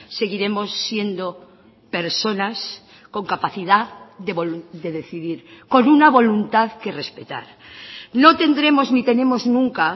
seguiremos siendo personas con capacidad de decidir con una voluntad que respetar no tendremos ni tenemos nunca